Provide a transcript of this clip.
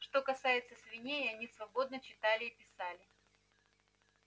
что касается свиней они свободно читали и писали